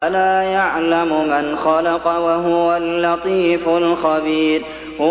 أَلَا يَعْلَمُ مَنْ خَلَقَ وَهُوَ اللَّطِيفُ الْخَبِيرُ